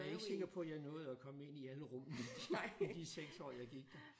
Jeg er ikke sikker på jeg nåede at komme ind i alle rummene i de 6 år jeg gik der